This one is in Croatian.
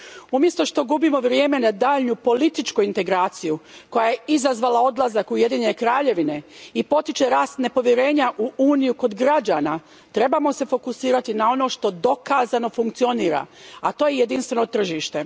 Umjesto što gubimo vrijeme na daljnju političku integraciju koja je izazvala odlazak Ujedinjene Kraljevine i potiče rast nepovjerenja u Uniju kod građana, trebamo se fokusirati na ono što dokazano funkcionira, a to je jedinstveno tržište.